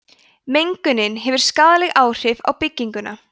mengunin hefur skaðleg áhrif á bygginguna